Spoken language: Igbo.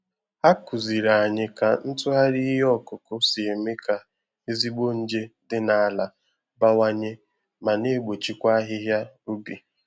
Ha kụziiri anyị ka ntụgharị ihe ọkụkụ si eme ka ezigbo nje dị na ala bawanye ma na egbochikwa ahịhịa ubi